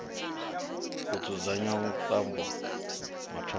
ho dzudzanyiwa vhuṱambo mathomoni a